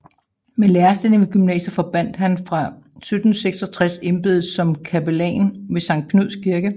Med lærerstillingen ved gymnasiet forbandt han fra 1766 embedet som kapellan ved Sankt Knuds Kirke